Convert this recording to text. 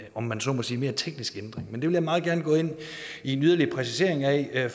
om man så må sige mere teknisk ændring men det vil jeg meget gerne gå ind i en yderligere præcisering af